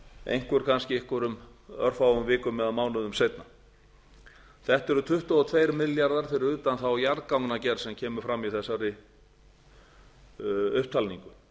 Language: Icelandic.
einhver kannski einhverjum örfáum vikum eða mánuðum seinna þetta eru tuttugu og tveir milljarðar fyrir utan þá jarðgangagerð sem kemur fram í þessari upptalningu